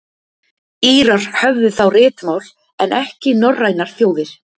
írar höfðu þá ritmál en ekki norrænar þjóðir